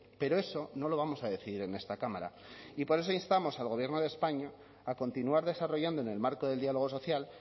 pero eso no lo vamos a decidir en esta cámara y por eso instamos al gobierno de españa a continuar desarrollando en el marco del diálogo social